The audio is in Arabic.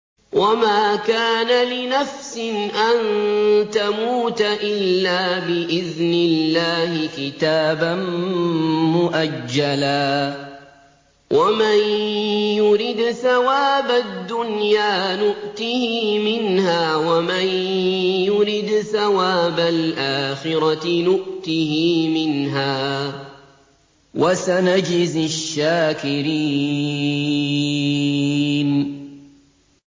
وَمَا كَانَ لِنَفْسٍ أَن تَمُوتَ إِلَّا بِإِذْنِ اللَّهِ كِتَابًا مُّؤَجَّلًا ۗ وَمَن يُرِدْ ثَوَابَ الدُّنْيَا نُؤْتِهِ مِنْهَا وَمَن يُرِدْ ثَوَابَ الْآخِرَةِ نُؤْتِهِ مِنْهَا ۚ وَسَنَجْزِي الشَّاكِرِينَ